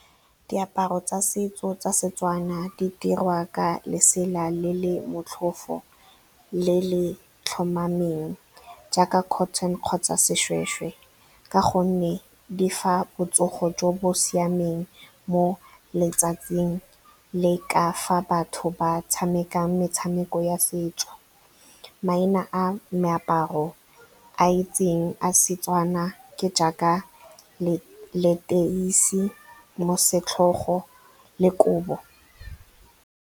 Diaparo tsa setso tsa seTswana di dirwa ka lesela le le motlhofo, le le tlhomameng jaaka cotton kgotsa seshweshwe, ka gonne di fa botsogo jo bo siameng mo letsatsing le ka fa batho ba tshamekang metshameko ya setso. Maina a meaparo a itseng a seTswana ke jaaka leteisi, mosetlhogo le kobo.